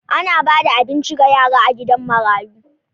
Ana ba da abinci ga yara a gidan marayu.